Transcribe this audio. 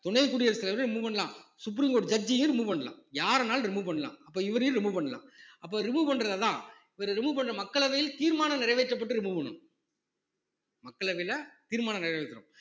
துணை குடியரசு தலைவர remove பண்ணலாம் supreme court judge ஐயே remove பண்ணலாம் யார வேணாலும் remove பண்ணலாம் அப்ப இவரையும் remove பண்ணலாம் அப்ப remove பண்றது இவரை remove பண்ற மக்களவையில் தீர்மானம் நிறைவேற்றப்பட்டு remove பண்ணனும் மக்களவையில தீர்மானம் நிறைவேற்றனும்